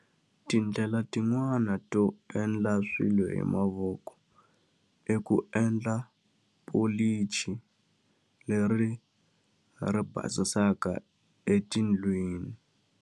Tindlela tin'wani to endla swilo hi mavoko, i ku endla pholichi leri ri basisaka etindlwini.